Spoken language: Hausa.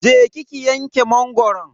Je ki ki wanke mangoron.